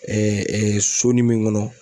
sonin min kɔnɔ